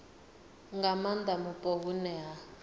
nga maanda mupo hune ha